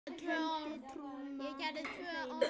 kenndi trúna hreina.